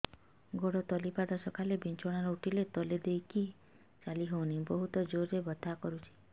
ଗୋଡ ତଳି ପାଦ ସକାଳେ ବିଛଣା ରୁ ଉଠିଲେ ତଳେ ଦେଇକି ଚାଲିହଉନି ବହୁତ ଜୋର ରେ ବଥା କରୁଛି